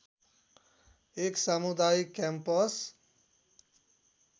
एक सामुदायिक क्याम्पस